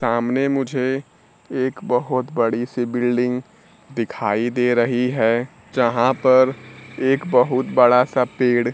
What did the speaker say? सामने मुझे एक बहोत बड़ी सी बिल्डिंग दिखाई दे रही है जहां पर एक बहुत बड़ा सा पेड़--